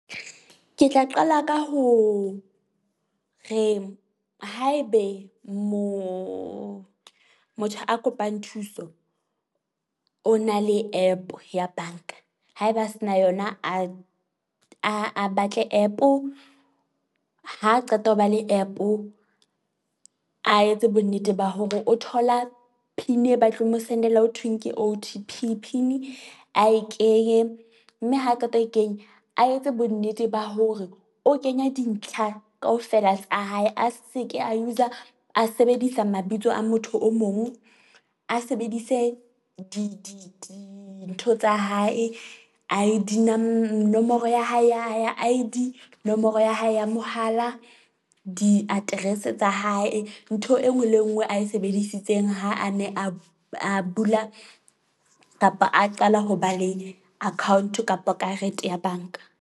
Ke tla qala ka ho re haebe moo motho a kopang thuso, o na le app ya bank-a haeba a se na yona, a a a batle app-o ha qeta ho ba le app-o a etse bonnete ba hore o thola PIN e batleng mo sendela. Ho thweng ke O_T_P PIN-i a e kenye mme ha qeta ho kenya a etse bonnete ba hore o kenya dintlha kaofela tsa hae. A se ke e a sebedisa mabitso a motho o mong. A sebedise di di dintho tsa hae, I_D nomoro ya hae ya I_D, nomoro ya hae ya mohala, diaterese tsa hae. Ntho e nngwe le e nngwe a e sebedisitseng ha a ne a a bula kapa a qala ho ba le account-o kapa karete ya bank-a.